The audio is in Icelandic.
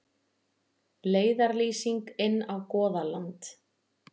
Leiðarlýsing inn á Goðaland.